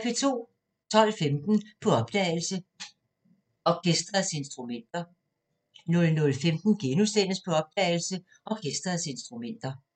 12:15: På opdagelse – Orkesterets instrumenter 00:15: På opdagelse – Orkesterets instrumenter *